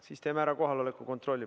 Siis teeme kohaloleku kontrolli.